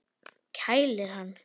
Kælir hann.